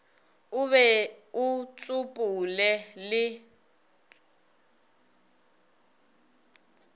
o be o tsopole le